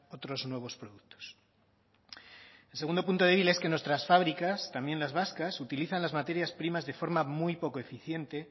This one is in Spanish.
otros nuevos productos el segundo punto débil es que nuestras fábricas también las vascas utilizan las materias primas de forma muy poco eficiente